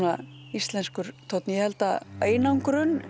íslenskur tónn ég held að einangrun